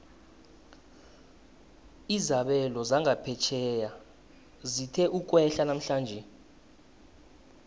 izabelo zangaphetjheya zithe ukwehla namhlanje